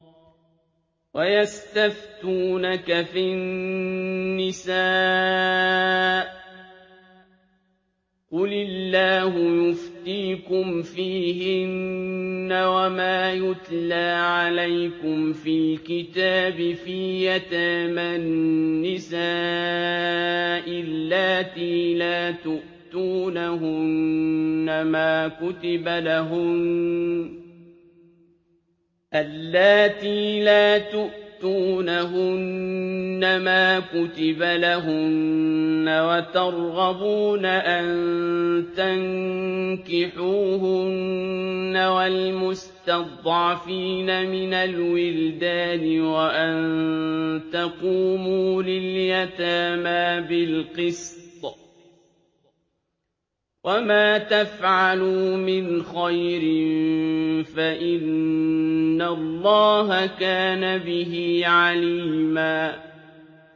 وَيَسْتَفْتُونَكَ فِي النِّسَاءِ ۖ قُلِ اللَّهُ يُفْتِيكُمْ فِيهِنَّ وَمَا يُتْلَىٰ عَلَيْكُمْ فِي الْكِتَابِ فِي يَتَامَى النِّسَاءِ اللَّاتِي لَا تُؤْتُونَهُنَّ مَا كُتِبَ لَهُنَّ وَتَرْغَبُونَ أَن تَنكِحُوهُنَّ وَالْمُسْتَضْعَفِينَ مِنَ الْوِلْدَانِ وَأَن تَقُومُوا لِلْيَتَامَىٰ بِالْقِسْطِ ۚ وَمَا تَفْعَلُوا مِنْ خَيْرٍ فَإِنَّ اللَّهَ كَانَ بِهِ عَلِيمًا